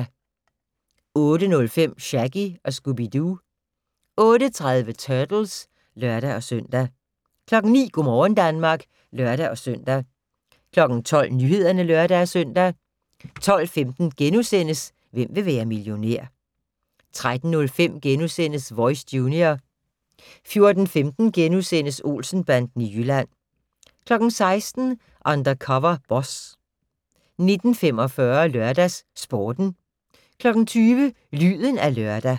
08:05: Shaggy & Scooby-Doo 08:30: Turtles (lør-søn) 09:00: Go' morgen Danmark (lør-søn) 12:00: Nyhederne (lør-søn) 12:15: Hvem vil være millionær? * 13:05: Voice - junior * 14:15: Olsen-banden i Jylland * 16:00: Undercover Boss 19:45: LørdagsSporten 20:00: Lyden af lørdag